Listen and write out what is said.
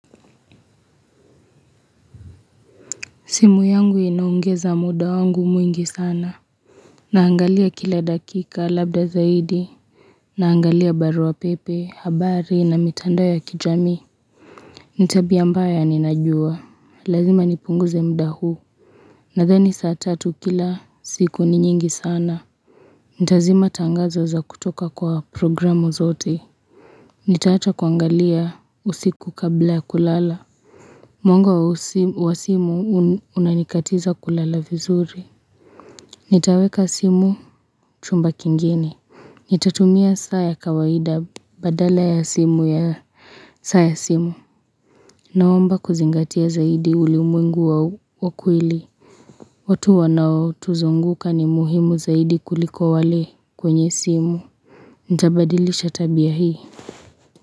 Simu yangu inaongeza muda wangu mwingi sana naangalia kila dakika labda zaidi naangalia barua pepe habari na mitandao yakijamii nitabia mbaya ni najua lazima ni pungu ze muda huu na dhani saa tatu kila siku ni nyingi sana nitazima tangazo za kutoka kwa programu zote nitaacha kuangalia usiku kablaya kulala mwanga wa simu unanikatiza kulala vizuri Nitaweka simu chumba kingine Nitatumia saaya kawaida badala ya simu ya saaya simu. Naomba kuzingatia zaidi ulimwengu wa wakweli. Watu wanao tuzunguka ni muhimu zaidi kuliko wale kwenye simu. Nitabadilisha tabia hii.